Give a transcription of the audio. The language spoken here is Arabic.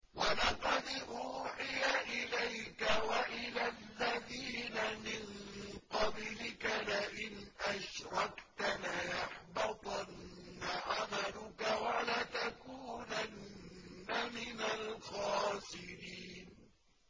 وَلَقَدْ أُوحِيَ إِلَيْكَ وَإِلَى الَّذِينَ مِن قَبْلِكَ لَئِنْ أَشْرَكْتَ لَيَحْبَطَنَّ عَمَلُكَ وَلَتَكُونَنَّ مِنَ الْخَاسِرِينَ